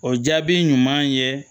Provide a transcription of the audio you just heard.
O jaabi ɲuman ye